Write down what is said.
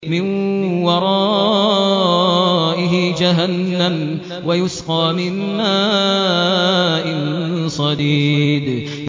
مِّن وَرَائِهِ جَهَنَّمُ وَيُسْقَىٰ مِن مَّاءٍ صَدِيدٍ